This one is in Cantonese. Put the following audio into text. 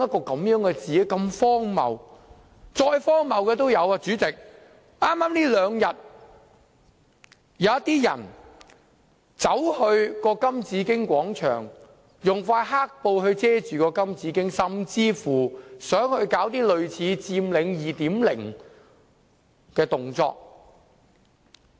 代理主席，更荒謬的是，這兩天，有些人走到金紫荊廣場，用一塊黑布遮蓋金紫荊，甚至想搞類似"佔領 2.0" 的動作。